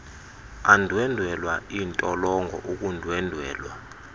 andwendwela iintolongo ukundwendwelwa